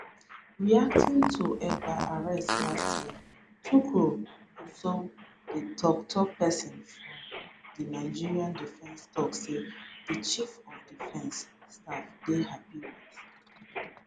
reacting to ekpa arrest last year tukur gusau di toktok pesin for di nigeria defence tok say di chief of defence staff dey happy wit